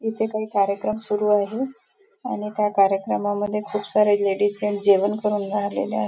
इथे काही कार्यक्रम सुरू आहे आणि त्या कार्यक्रमांमध्ये खूप सारे लेडीज जेन्ट्स जेवण करुन राहिलेले आहे.